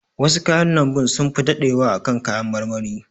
Wasu kayan lambun sunfi daɗewa a kan kayan marmari.